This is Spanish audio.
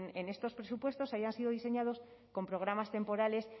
en estos presupuestos hayan sido diseñados con programas temporales